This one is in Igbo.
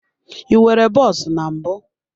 I nwere bọs na mbụ.